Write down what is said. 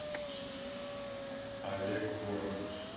олег воронов